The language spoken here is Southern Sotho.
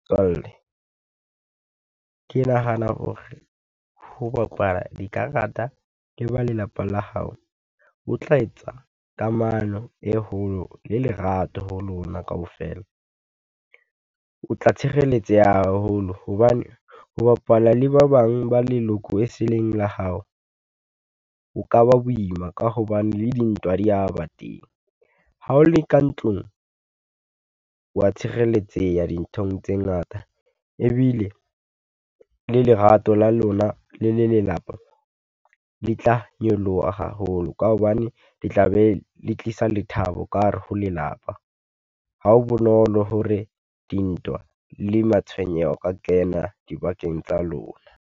Motswalle, ke nahana hore ho bapala dikarata le ba lelapa la hao ho tla etsa kamano e holo le lerato ho lona kaofela. O tla tshireletseha haholo hobane ho bapala le ba bang ba leloko e seleng la hao. O ka ba boima ka hobane le dintwa di ya ba teng, ha o le ka ntlong, o wa tshireletseha dinthong tse ngata, ebile le lerato la lona le le lelapa, le tla nyoloha haholo ka hobane le tla be le tlisa lethabo ka hare ho lelapa. Ha ho bonolo hore dintwa le matshwenyeho, a kena dibakeng tsa lona.